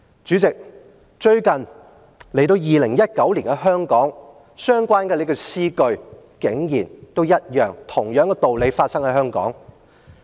"主席，來到2019年的香港，相關的詩句竟然一樣，同樣的道理發生在香港。